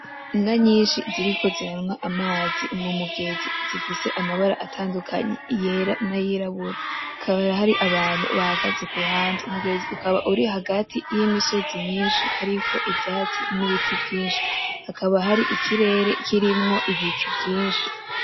Inka nyinshi ziriko ziranywa amazi mu mugezi, zifise amabara atandukanye; iyera n'ayirabura. Hakaba hari abantu bahagaze ku ruhande. Umugezi ukaba uri hagati y’imisozi myinshi hariko ivyatsi n'ibiti vyinshi. Hakaba hari ikirere kirimwo ibicu vyinshi.